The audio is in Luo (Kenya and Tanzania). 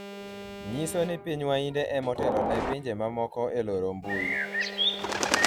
nyiso ni piny wainde ema otelo ne pinje mamoko e loro mbui